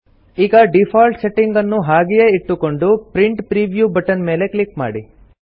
ಈಗ default setting ಅನ್ನು ಹಾಗೆಯೇ ಇಟ್ಟುಕೊಂಡು ಪ್ರಿಂಟ್ ಪ್ರಿವ್ಯೂ ಬಟನ್ ಮೇಲೆ ಕ್ಲಿಕ್ ಮಾಡಿ